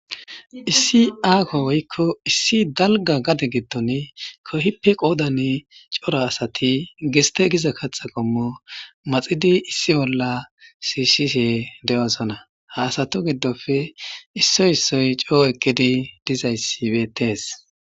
Issi aako woykko issi dalga gade gitton kohippe qoodan cora asati geste giza kaxa qommo maxidi issi bolla siishihe de7oosana haasato giddofe issoy issoy coo ekkidi dizayssi betees.